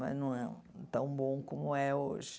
Mas não é tão bom como é hoje.